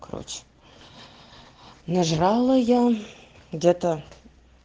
короче нажрала я где-то